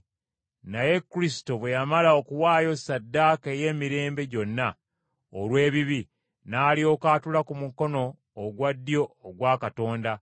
naye Kristo bwe yamala okuwaayo ssaddaaka ey’emirembe gyonna, olw’ebibi, n’alyoka atuula ku mukono ogwa ddyo ogwa Katonda.